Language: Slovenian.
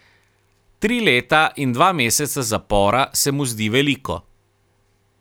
Tri leta in dva meseca zapora se mu zdi veliko.